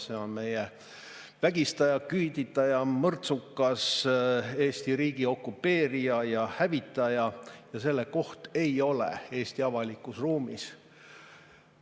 See on meie vägistaja, küüditaja, mõrtsukas, Eesti riigi okupeerija ja hävitaja ja selle koht ei ole Eesti avalikus ruumis.